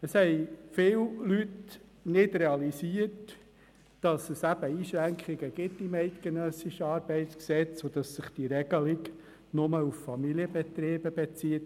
Viele Leute haben nicht realisiert, dass das eidgenössische ArG Einschränkungen vorsieht und dass sich die Regelung nur auf Familienbetriebe bezieht.